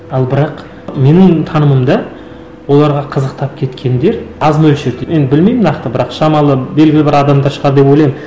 ал бірақ менің танымымда оларға қызықтап кеткендер аз мөлшерде енді білмеймін нақты бірақ шамалы белгілі бір адамдар шығар деп ойлаймын